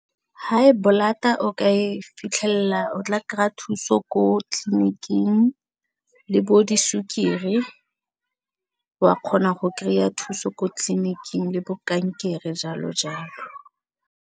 High blood-a o ka e fitlhela o tla kry-a thuso ko tleliniking le bo disukiri wa kgona go kry-a thuso ko tleliniking le bo kankere jalo jalo.